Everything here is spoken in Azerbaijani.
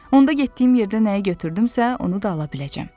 Onda getdiyim yerdə nəyi götürdümsə, onu da ala biləcəm.